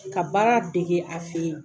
Ka baara dege a fɛ yen.